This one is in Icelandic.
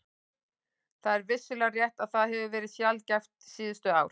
Það er vissulega rétt að það hefur verið sjaldgæft síðustu ár.